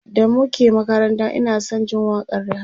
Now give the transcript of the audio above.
da muke makaranta Ina San Jin waƙan Rihanna